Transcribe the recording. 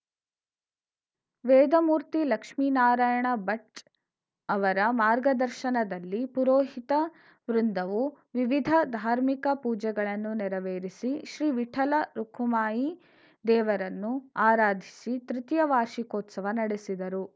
ವೇದಮೂರ್ತಿ ಲಕ್ಷ್ಮೀನಾರಾಯಣ ಭಚ್‌ ಅವರ ಮಾರ್ಗದಶರ್ನದಲ್ಲಿ ಪುರೋಹಿತ ವೃಂದವು ವಿವಿಧ ಧಾರ್ಮಿಕ ಪೂಜೆಗಳನ್ನು ನೆರವೇರಿಸಿ ಶ್ರೀ ವಿಠಲ ರುಖುಮಾಯಿ ದೇವರನ್ನು ಆರಾಧಿಸಿ ತೃತೀಯ ವಾರ್ಷಿಕೋತ್ಸವ ನಡೆಸಿದರು